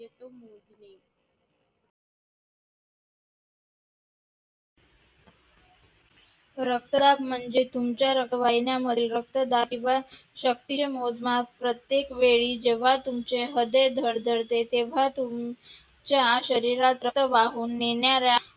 रक्तदाब म्हणजे तुमच्या रक्तवाहिन्यांमधील रक्तदाब किंवा मोजमाप म्हणजे जेव्हा तुमचे हृदय धडधडते तेव्हा च्या शरीरात रक्त वाहून नेणाऱ्या